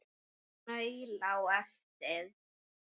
Maul á eftir.